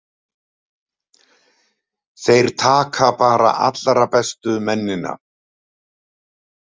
Þeir taka bara allra bestu mennina.